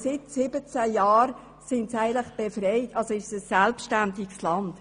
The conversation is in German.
Denn seit 17 Jahren ist Eritrea eigentlich befreit und ein selbstständiges Land.